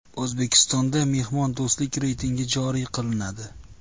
O‘zbekistonda mehmondo‘stlik reytingi joriy qilinadi.